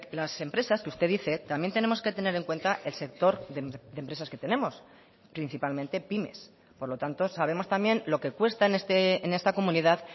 las empresas que usted dice también tenemos que tener en cuenta el sector de empresas que tenemos principalmente pymes por lo tanto sabemos también lo que cuesta en esta comunidad